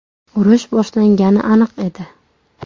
Urush boshlangani aniq edi.